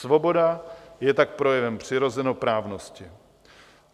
Svoboda je tak projevem přirozenoprávnosti.